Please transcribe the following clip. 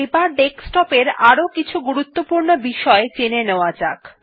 এবার ডেস্কটপ এ আরো কিছু গুরুত্বপূর্ণ বিষয় জেনে নেওয়া যাক